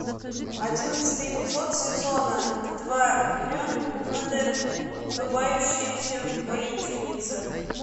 одиннадцатый эпизод сезона два гренадер улыбающаяся воительница